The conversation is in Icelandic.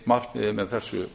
meginmarkmiðið með þessu